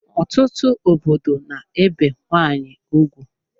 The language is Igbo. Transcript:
Ọtụtụ obodo n'ebe nwanyị ugwu